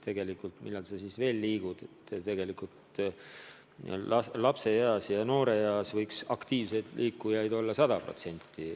Aga millal siis veel aktiivselt liikuda – lapse- ja nooreeas võiks aktiivselt liikujaid olla 100%.